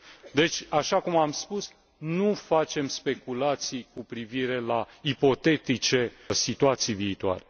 Deci, așa cum am spus, nu facem speculații cu privire la ipotetice situații viitoare.